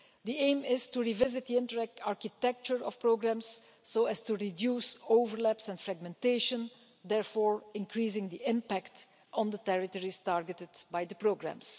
The aim is to revisit the Interreg architecture of programmes so as to reduce overlaps and fragmentation, thereby increasing the impact on the territories targeted by the programmes.